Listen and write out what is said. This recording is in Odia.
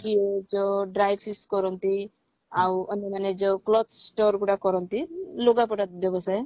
କି ଯୋ dry fish କରନ୍ତି ଆଉ ଅନ୍ୟମାନେ ଯଉ cloth store ଗୁଡା କରନ୍ତି ଲୁଗାପଟା ବ୍ୟବସାୟ